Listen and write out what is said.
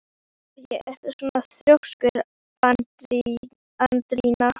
Af hverju ertu svona þrjóskur, Andríana?